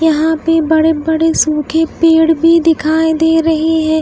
यहां पे बड़े बड़े सूखे पेड़ भी दिखाई दे रहे है।